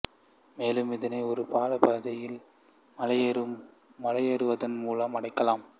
மேலும் இதனை ஒரு பாலப் பாதையில் மலையேறுவதன் மூலம் அடையலாம்